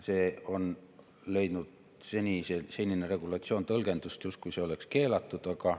Senine regulatsioon on leidnud sellist tõlgendust, justkui see oleks keelatud.